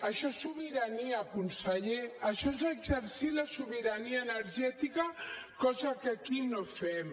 això és sobirania conseller això és exercir la sobirania energètica cosa que aquí no fem